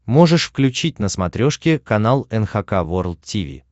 можешь включить на смотрешке канал эн эйч кей волд ти ви